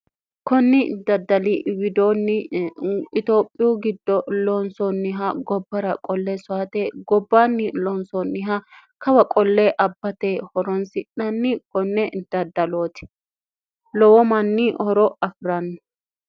kunni daddali widoonni itioophiyu giddo loonsoonniha gobbara qollee soate gobbaanni loonsoonniha kawa qollee abbate horonsi'nanni konne daddalooti lowomanni horo afi'ranno